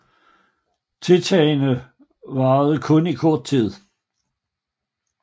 Tiltagene varede kun i kort tid